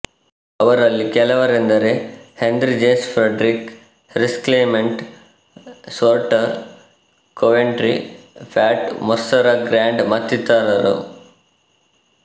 ಅವರಲ್ಲಿ ಕೆಲವರೆಂದರೆಹೆನ್ರಿ James Frederick Harrison Clement Shorter Coventry Pat Moore Sarah Grand ಮತ್ತಿತ್ತರರು